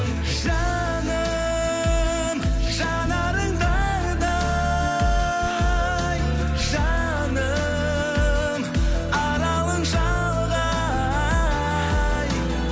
жаным жанарың таңдай жаным аралың шалғай